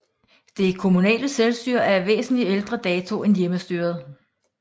Det kommunale selvstyre er af væsentlig ældre dato end hjemmestyret